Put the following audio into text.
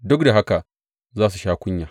Duk da haka za su sha kunya.